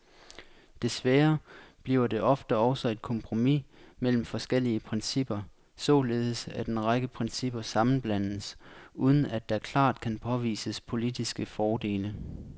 Desværre bliver det ofte også et kompromis mellem forskellige principper, således at en række principper sammenblandes, uden at der klart kan påvises politiske fordele.